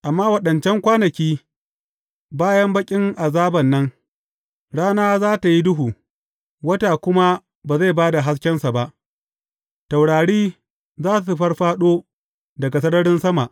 Amma waɗancan kwanaki, bayan baƙin azaban nan, rana za tă yi duhu, wata kuma ba zai ba da haskensa ba; taurari za su fāffāɗo daga sararin sama.